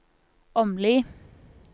Åmli